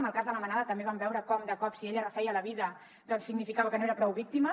amb el cas de la manada també vam veure com de cop si ella refeia la vida doncs significava que no era prou víctima